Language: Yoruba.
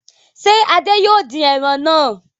Ṣé Adé yóò dín ẹran náà?